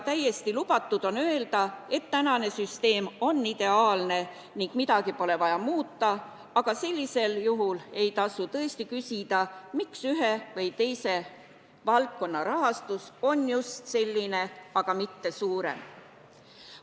Täiesti lubatud on ka öelda, et praegune süsteem on ideaalne ja midagi pole vaja muuta, aga sellisel juhul ei tasu küsida, miks ühe või teise valdkonna rahastus on just selline, mitte suurem.